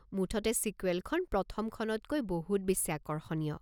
মুঠতে ছিকুৱেলখন প্ৰথমখনতকৈ বহুত বেছি আকৰ্ষণীয়।